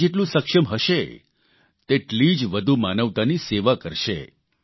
ભારત જેટલું સક્ષમ હશે તેટલી જ વધુ માનવતાની સેવા કરશે